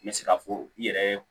N bɛ se k'a fɔ i yɛrɛ